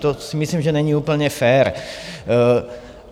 To si myslím, že není úplně fér.